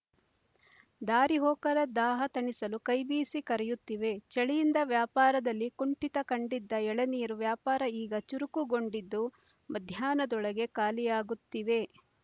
ದಾರಿ ಹೋಕರ ದಾಹ ತಣಿಸಲು ಕೈಬೀಸಿ ಕರೆಯುತ್ತಿವೆ ಚಳಿಯಿಂದ ವ್ಯಾಪಾರದಲ್ಲಿ ಕುಂಠಿತ ಕಂಡಿದ್ದ ಎಳನೀರು ವ್ಯಾಪಾರ ಈಗ ಚುರುಕುಗೊಂಡಿದ್ದು ಮಧ್ಯಾಹ್ನದೊಳಗೆ ಖಾಲಿಯಾಗುತ್ತಿವೆ